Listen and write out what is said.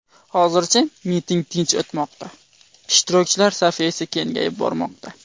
Hozircha miting tinch o‘tmoqda, ishtirokchilar safi esa kengayib bormoqda.